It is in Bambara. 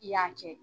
I y'a kɛ